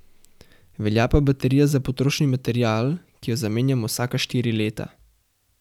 Velja pa baterija za potrošni material, ki jo zamenjamo vsaka štiri leta.